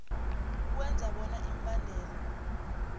ukwenza bona imibandela